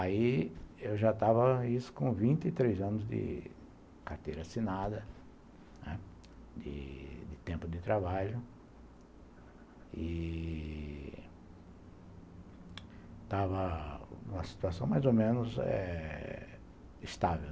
Aí eu já estava isso com vinte e três anos de carteira assinada, né, de tempo de trabalho, e estava numa situação mais ou menos eh estável.